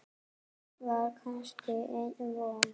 Var kannski enn von?